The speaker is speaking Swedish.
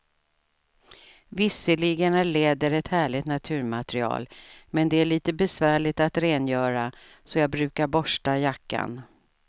Visserligen är läder ett härligt naturmaterial, men det är lite besvärligt att rengöra, så jag brukar borsta jackan.